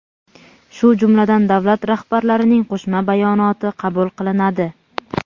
shu jumladan davlat rahbarlarining Qo‘shma bayonoti qabul qilinadi.